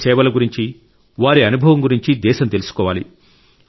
ఈ సేవల గురించి వారి అనుభవం గురించి దేశం తెలుసుకోవాలి